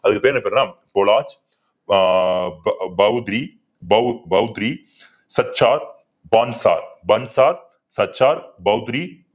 அதுக்கு பேரு, என்ன பேருன்னா